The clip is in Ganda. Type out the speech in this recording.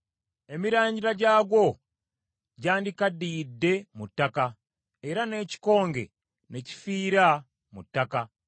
Emirandira gyagwo gyandikaddiyidde mu ttaka era n’ekikonge ne kifiira mu ttaka,